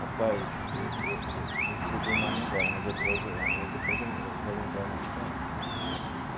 Rapaz, e você me fugiu o nome agora mas eu eu vou eu depois eu vou lembrar e vou te falar.